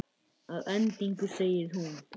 Að endingu segir hún